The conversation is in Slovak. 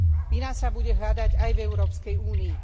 Vina sa bude hľadať aj v Európskej únii.